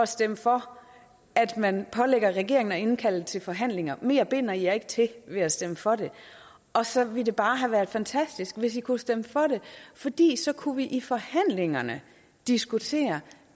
stemme for at man pålægger regeringen at indkalde til forhandlinger mere binder i jer ikke til ved at stemme for det og så ville det bare have været fantastisk hvis i kunne stemme for det fordi så kunne vi i forhandlingerne diskutere